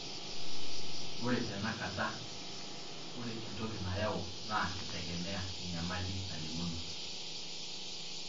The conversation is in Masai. ore tena kata ore entoki nayau na kitegemea enyamali nalimuno.